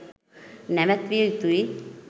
නැවැත්විය යුතුයි